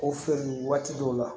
O feere waati dɔw la